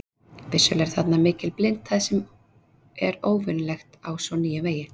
Vissulega er þarna mikil blindhæð sem er óvenjulegt á svo nýjum vegi.